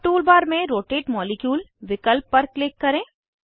अब tool bar में rotate molecule विकल्प पर क्लिक करें